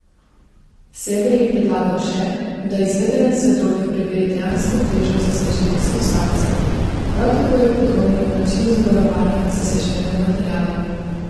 Sever je predlagal še, da izvedenec za droge preveri dejansko težo zaseženih substanc, prav tako je podvomil o načinu zavarovanja zaseženega materiala.